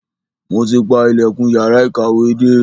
Mo ti pa ilẹ̀kùn yàrá ìkàwé dé.